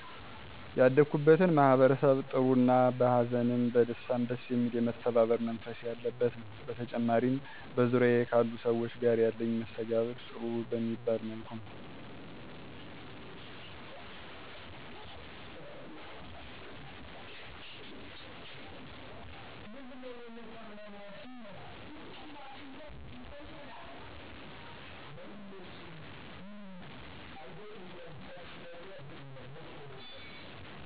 ያደኩበትን ማህበረሰብ ጥሩ እና በ ሀዘንም በደስታም ደስ የሚል የመተባበር መንፈስ ያለበት ነዉ። በተጨማሪም በዙሪያየ ካሉ ሰዎች ጋር ያለኝ መስተጋብር ጥሩ በሚባል መልኩ ነዉ።